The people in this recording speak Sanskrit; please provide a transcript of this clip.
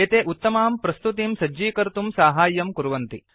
एते उत्तमां प्रस्तुतिं सज्जीकर्तुं साहाय्यं कुर्वन्ति